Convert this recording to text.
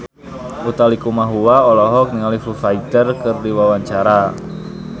Utha Likumahua olohok ningali Foo Fighter keur diwawancara